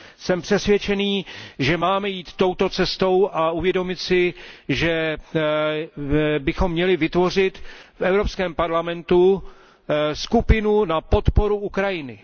Jsem přesvědčen, že máme jít touto cestou a uvědomit si, že bychom měli v Evropském parlamentu vytvořit skupinu na podporu Ukrajiny.